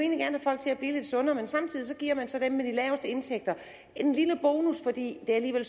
egentlig sundere men samtidig giver man så dem med de laveste indtægter en lille bonus fordi det alligevel